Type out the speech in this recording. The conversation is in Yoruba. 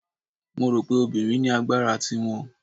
Mo rò pé obìnrin ní agbára ti wọn.